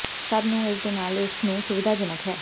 ਸਭ ਨੂੰ ਇਸ ਦੇ ਨਾਲ ਇਸ ਨੂੰ ਸੁਵਿਧਾਜਨਕ ਹੈ